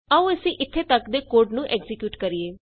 ਆਉ ਅਸੀਂ ਇਥੇ ਤਕ ਦੇ ਕੋਡ ਨੂੰ ਐਕਜ਼ੀਕਿਯੂਟ ਕਰੀਏ